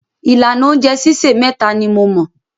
Ìlànà oúnjẹ sísè méta ni mo mọ̀.